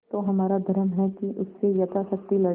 तो हमारा धर्म है कि उससे यथाशक्ति लड़ें